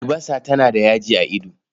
Albasa tana da yaji a ido.